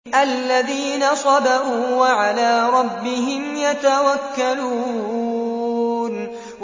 الَّذِينَ صَبَرُوا وَعَلَىٰ رَبِّهِمْ يَتَوَكَّلُونَ